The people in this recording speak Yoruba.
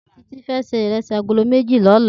Titi fè sé irèsí àgóló méji lòlá